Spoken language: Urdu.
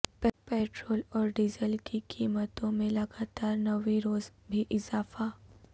پٹرول اور ڈیزل کی قیمتوں میں لگاتار نویں روزبھی اضافہ